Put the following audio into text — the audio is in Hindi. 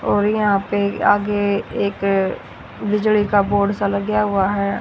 और यहां पे आगे एक बिजली का बोर्ड सा लगया हुआ है।